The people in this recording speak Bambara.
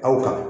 Aw ka